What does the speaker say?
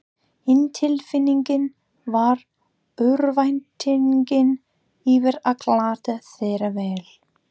Hin tilfinningin var örvæntingin yfir að glata þeirri vel